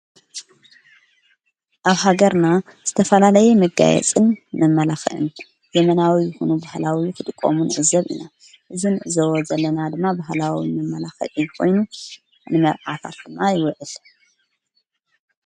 ኣብ ሃገርና ዝተፈላለየ መጋየጽን መመላኽዕን ዘመናዊ ይኹኑ ባህላዊ ክጥቀሙ ንዕዘብ ኢና ።እዚ ንዕዘቦ ዘለና ድማ ባህላዊ መመላኽዒ ኾይኑ ንመርዓታት ድማ ይወዕል።